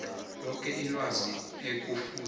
loke ilwazi ekufuze